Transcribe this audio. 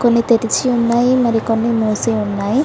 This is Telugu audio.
కొన్ని తెరిచి ఉన్నాయి మరి కొన్ని మూసి ఉన్నాయి.